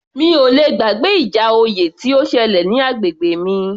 Mi ò le gbàgbé ìjà oyè tó ṣẹlẹ̀ ní agbègbè mi